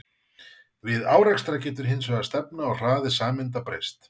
Við árekstra getur hins vegar stefna og hraði sameinda breyst.